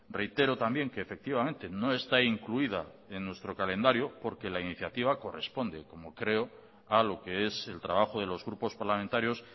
reitero también que efectivamente no está incluida en nuestro calendario porque la iniciativa corresponde como creo a lo que es el trabajo de los grupos parlamentarios